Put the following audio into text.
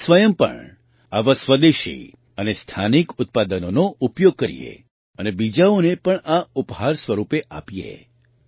આપણે સ્વયં પણ આવાં સ્વદેશી અને સ્થાનિક ઉત્પાદનોનો ઉપયોગ કરીએ અને બીજાઓને પણ આ ઉપહાર સ્વરૂપે આપીએ